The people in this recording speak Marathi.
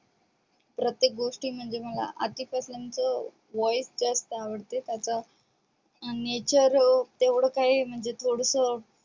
प्रत्येक गोष्टी म्हणजे मला आतिफ अस्लम च voice जास्त आवडते त्याच nature तेवढ काही म्हणजे थोडस